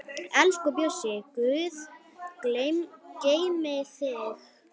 Elsku Bjössi, Guð geymi þig.